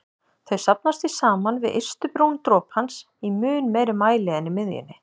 Þau safnast því saman við ystu brún dropans í mun meiri mæli en í miðjunni.